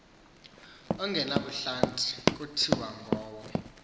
ongenabuhlanti kuthiwa ngowo